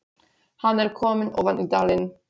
Hann er kominn ofan í dalinn